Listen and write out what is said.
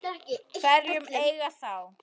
Hverjir eiga þá?